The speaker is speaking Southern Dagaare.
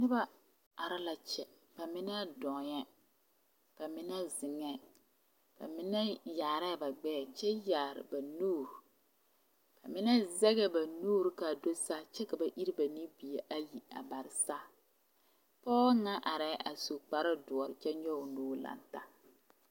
Noba are la kyɛ bamine dɔɔɛ ka mine zeŋɛɛ bamine yaarɛɛ ba gbɛɛ kyɛ yaare ba nuuri bamine zegɛɛ ba nuuri ka a do saa kyɛ ka ba iri ba nubie ayi a bare saa pɔge ŋa arɛɛ a su kpare doɔ kyɛ nyɔge o nuuri lantaa